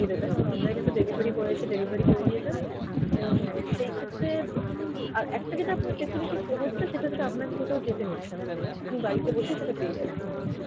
সুবিধাটা কারণ online এ তো delivery boy এসে delivery করে দিয়ে যাবে, এবং সেই ক্ষেত্রে আর একটা যেটা আপনার facility হচ্ছে সেটা হচ্ছে আপনাকে কোথাও যেতে হচ্ছে না, আপনি বাড়িতে বসে সেটা পেয়ে যাচ্ছেন।